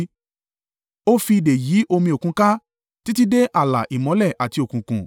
Ó fi ìdè yí omi òkun ká, títí dé ààlà ìmọ́lẹ̀ àti òkùnkùn.